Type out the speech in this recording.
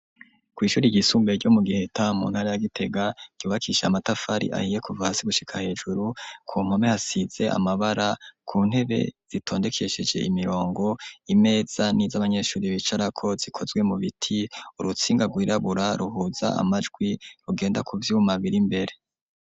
Kw'ishure ryisumbuye ryo mu giheta muntara ya gitega ryubakishije amatafari ahiye kuvahasi gushika hejuru, ku mpome hasize amabara ku ntebe zitondekesheje imirongo imeza n'iz'abanyeshure bicarako zikozwe mu biti, urutsinga rwirabura ruhuza amajwi rugenda kuvyuma bir'imbere.